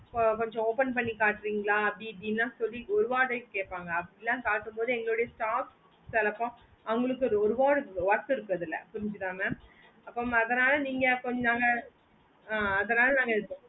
so கொஞ்ச open பண்ணி காட்றிங்களா அப்டி இப்புடிலா சொல்லி ஒரு word கேப்பாங்க அப்புடிலா கட்ட மோடு எங்களோட staff சிலபோம் அவங்களுக்கு ஒரு word worth இருக்குறதுல புரிஞ்சிதா mam அப்போ mam அதனால நீங்க கொஞ்ச அங்க ஆஹ் அதனால இப்போ